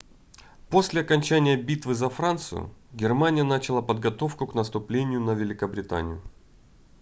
после окончания битвы за францию германия начала подготовку к наступлению на великобританию